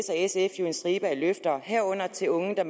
og sf jo en stribe af løfter herunder til unge der